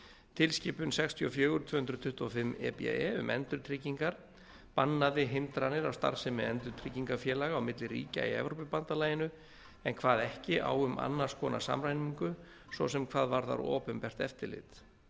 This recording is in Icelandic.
tilskipun sextíu og fjögur tvö hundruð tuttugu og fimm e b e um endurtryggingar bannaði hindranir á starfsemi endurtryggingafélaga á milli ríkja í evrópubandalaginu en kvað ekki á um annars konar samræmingu svo sem hvað varðar opinbert eftirlit